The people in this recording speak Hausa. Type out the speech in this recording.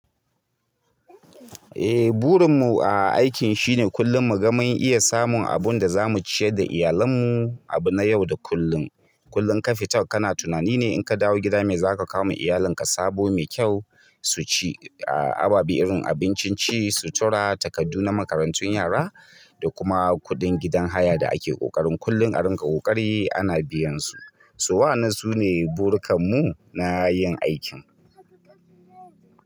Eh burin mu a aikin shine kullum muga mun iya samun abun da za mu ciyar da iyalan mu abu na yau da kullum. Kullum ka fita kana tunani ne in ka dawo gida me za ka kawo ma iyalin ka sabo mai kyau su ci. Ababe irin abincin ci, sutura, takardu na makarantun yara, da kuma kuɗin gidan haya da ake ƙoƙarin kullum a rinƙa ƙoƙari ana biyan su. So wayan nan su ne burkan mu na yin aikin.